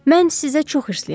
Mən sizə çox hirliyəm.